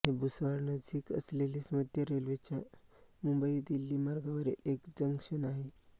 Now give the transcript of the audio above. हे भुसावळनजीक असलेले मध्य रेल्वेच्या मुंबईदिल्ली मार्गावरील एक जंक्शन आहे